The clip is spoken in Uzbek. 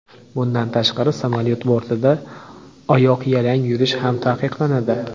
Bundan tashqari samolyot bortida oyoqyalang yurish ham taqiqlanadi.